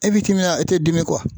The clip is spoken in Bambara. e te dimi